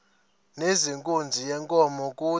nezenkunzi yenkomo kude